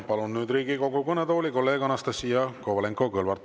Palun nüüd Riigikogu kõnetooli kolleeg Anastassia Kovalenko-Kõlvarti.